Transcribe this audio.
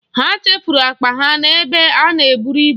Ha chefuru akpa ha n'ebe a na-eburu ibu.